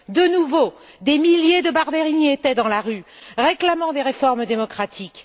De nouveau, des milliers de Bahreïniens étaient dans la rue, réclamant des réformes démocratiques.